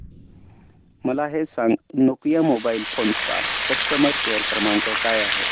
मला हे सांग नोकिया मोबाईल फोन्स चा कस्टमर केअर क्रमांक काय आहे